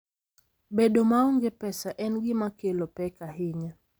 Bedo maonge pesa en gima kelo pek ahinya.